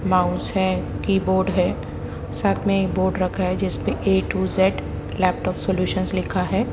Mouse है keyboard है साथ में एक बोर्ड रखा है जिसमें A to Z laptop solution लिखा है।